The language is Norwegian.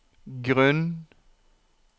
grunn